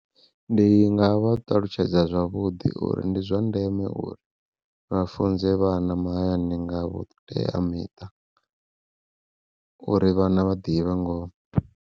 Ndi nga vha ṱalutshedza zwavhuḓi uri ndi zwa ndeme uri vha funze vhana mahayani nga vhuteamiṱa, uri vhana vha ḓivhe ngoho.